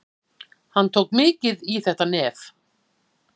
Hann tók mikið í þetta nef.